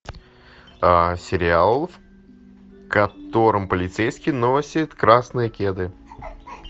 сериал в котором полицейский носит красные кеды